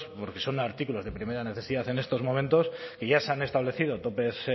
porque son artículos de primera necesidad en estos momentos y ya se han establecido topes